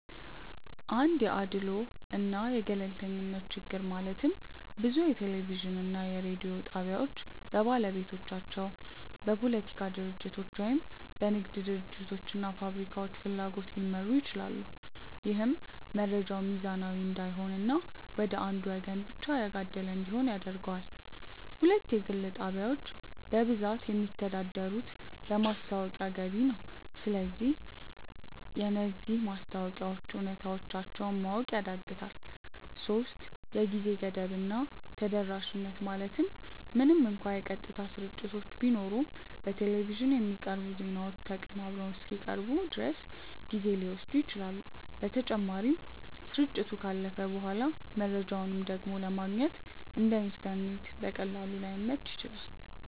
1 የአድልዎ እና የገለልተኝነት ችግር ማለትም ብዙ የቴሌቪዥን እና የሬዲዮ ጣቢያዎች በባለቤቶቻቸው፣ በፖለቲካ ድርጅቶች ወይም በንግድ ድርጅቶች እና ፋብሪካዎች ፍላጎት ሊመሩ ይችላሉ። ይህም መረጃው ሚዛናዊ እንዳይሆን እና ወደ አንዱ ወገን ብቻ ያጋደለ እንዲሆን ያደርገዋል። 2 የግል ጣቢያዎች በብዛት የሚተዳደሩት በማስታወቂያ ገቢ ነው። ስለዚህ የነዚህ ማስታወቂያዎች እውነተኛነታቸውን ማወቅ ያዳግታል 3የጊዜ ገደብ እና ተደራሽነት ማለትም ምንም እንኳን የቀጥታ ስርጭቶች ቢኖሩም፣ በቴሌቪዥን የሚቀርቡ ዜናዎች ተቀናብረው እስኪቀርቡ ድረስ ጊዜ ሊወስዱ ይችላሉ። በተጨማሪም፣ ስርጭቱ ካለፈ በኋላ መረጃውን ደግሞ ለማግኘት (እንደ ኢንተርኔት በቀላሉ) ላይመች ይችላል።